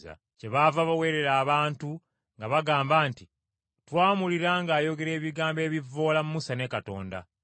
Kyebaava baweerera abantu nga bagamba nti twamuwulira ng’ayogera ebigambo ebivvoola Musa ne Katonda.